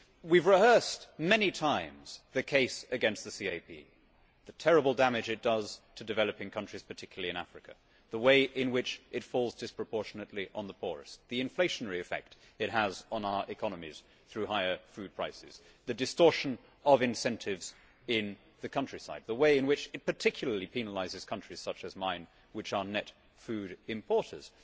We have rehearsed many times the case against the CAP, the terrible damage it does to developing countries, particularly in Africa, the way in which it falls disproportionately on the poorest, the inflationary effect it has on our economies through higher food prices, the distortion of incentives in the countryside, the way in which it particularly penalises countries such as mine which are net food importers.